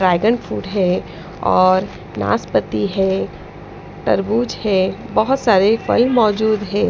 Dragon food है और नासपति है तरबूज है बहुत सारे फल मौजूद है।